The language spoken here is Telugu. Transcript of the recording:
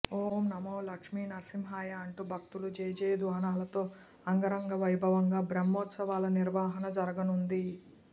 ఓం నమో లక్ష్మీనరసింహాయ అంటూ భక్తుల జయజయధ్వానాలతో అంగరంగ వైభవంగా బ్రహ్మోత్సవాల నిర్వహణ జరగనుంది